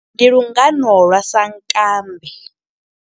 Ndi lungano lwa sankambe.